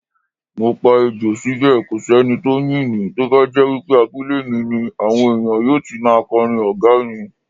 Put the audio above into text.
Mopa Ejò síbè kòsí enitó ńyìn mí, tóbájẹ́ wípé abúlé mi ni, àwọn ènìyàn yóò ti máa kọrin ògo mi.